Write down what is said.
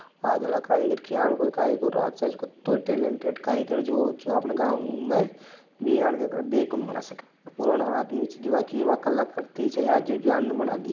आज आलो कारीगर क्यालको ही कारीगरों हो कतई टेलेंटेड कारीगर हो जो अपने गाव में बिया देख कोणी बना सके है और पुराना आदमी जो यह कलाकृति जो बना दी--